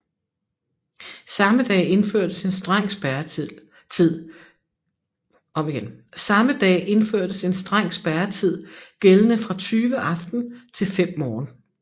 Samme dag indførtes en streng spærretid gældende fra 20 aften til 5 morgen